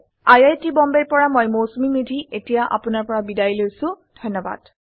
আই আই T Bombay ৰ পৰা মই মৌচুমী মেধী এতিয়া আপুনাৰ পৰা বিদায় লৈছো যোগদানৰ বাবে ধন্যবাদ